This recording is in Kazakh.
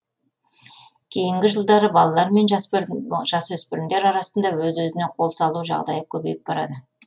кейінгі жылдары балалар мен жасөспірімдер арасында өз өзіне қол салу жағдайы көбейіп барады